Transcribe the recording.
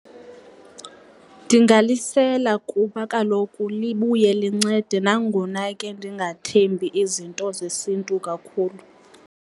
Ndingalisela kuba kaloku libuye lincede, nangona ke ndingathemba izinto zesiNtu kakhulu.